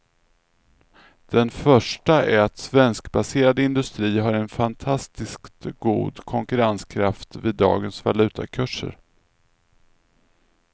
Den första är att svenskbaserad industri har en fantastiskt god konkurrenskraft vid dagens valutakurser.